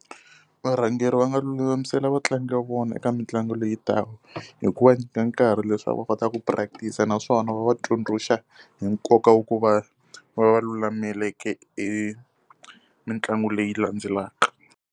Varhangeri va nga lulamisela vatlangi va vona eka mitlangu leyitaka, hi ku va nyika nkarhi leswaku va kota ku practice-a naswona va va tsundzuxa hi nkoka wa ku va va va lulameleke hi mitlangu leyi landzelaka.